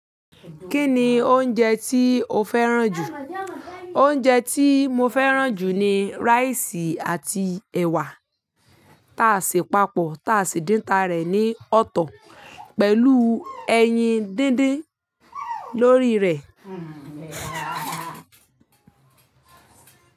Kí ni oúnjẹ tí o fẹ́ràn jù? Oúnjẹ tí mo fẹ́ràn jù ni rice àti ẹ̀wà tá a sì papọ̀, tá a sì dín ta rẹ̀ ní ọ̀tọ̀ pẹ̀lú ẹyin dídín lórí rẹ̀